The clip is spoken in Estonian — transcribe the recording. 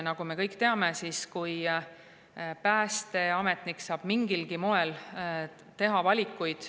Nagu me kõik teame, saab päästeametnik mingil moel teha valikuid.